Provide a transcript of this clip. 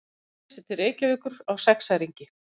Akranesi til Reykjavíkur á sexæringi.